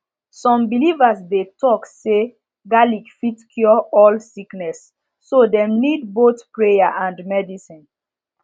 some believers dey talk say garlic fit cure all sickness so dem need both prayer and medicine